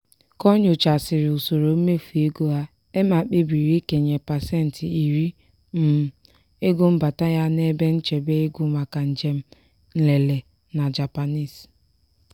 ka o nyochaghasịrị usoro mmefu ego ha emma kpebiri ikenye pasentị iri um ego mbata ya n'ebe nchebe ego maka njem nlele na japanese.